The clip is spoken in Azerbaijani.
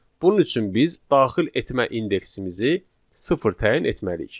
Bunun üçün biz daxil etmə indeksimizi sıfır təyin etməliyik.